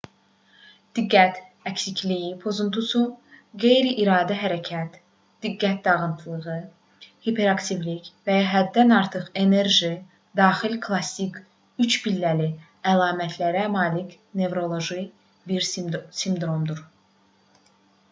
diqqət əksikliyi pozuntusu qeyri-iradi hərəkət diqqət dağınıqlığı hiperaktivlik və ya həddən artıq enerji daxil klassik üçpilləli əlamətlərə malik nevroloji bir sindromdur